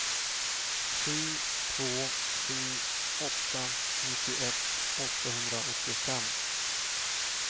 sju två sju åtta nittioett åttahundraåttiofem